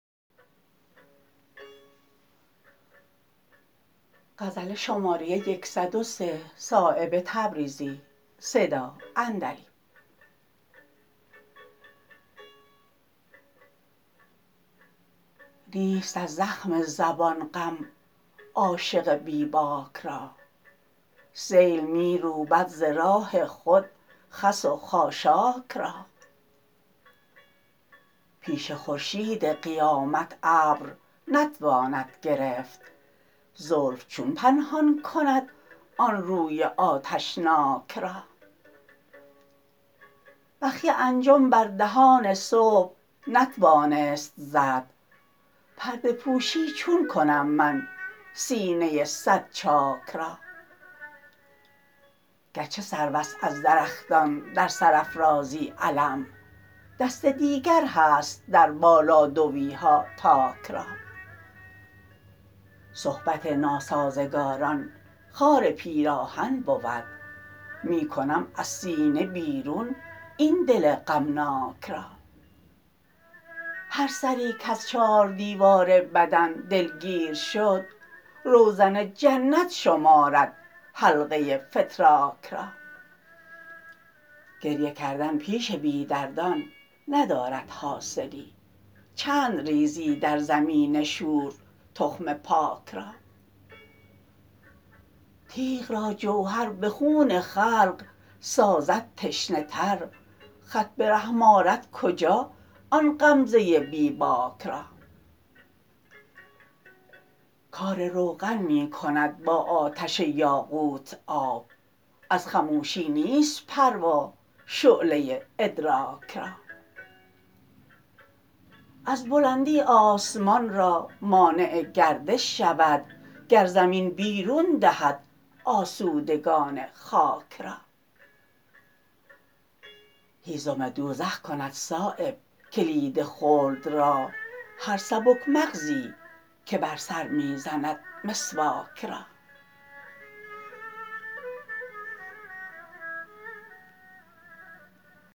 نیست از زخم زبان غم عاشق بی باک را سیل می روبد ز راه خود خس و خاشاک را پیش خورشید قیامت ابر نتواند گرفت زلف چون پنهان کند آن روی آتشناک را بخیه انجم بر دهان صبح نتوانست زد پرده پوشی چون کنم من سینه صد چاک را گرچه سروست از درختان در سرافرازی علم دست دیگر هست در بالادویها تاک را صحبت ناسازگاران خار پیراهن بود می کنم از سینه بیرون این دل غمناک را هر سری کز چار دیوار بدن دلگیر شد روزن جنت شمارد حلقه فتراک را گریه کردن پیش بی دردان ندارد حاصلی چند ریزی در زمین شور تخم پاک را تیغ را جوهر به خون خلق سازد تشنه تر خط به رحم آرد کجا آن غمزه بی باک را کار روغن می کند با آتش یاقوت آب از خموشی نیست پروا شعله ادراک را از بلندی آسمان را مانع گردش شود گر زمین بیرون دهد آسودگان خاک را هیزم دوزخ کند صایب کلید خلد را هر سبک مغزی که بر سر می زند مسواک را